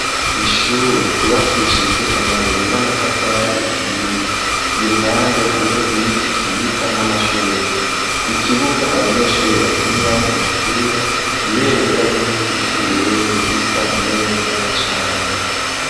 Ishure ryubakishijwe amabuye n'amatafari ahiye i ruhande hariho ibiti vyiza n'amashurwe ikibuga abanyeshure bakiniramwo umupira ibendera ry'igihugu c'uburundi risa neza cane.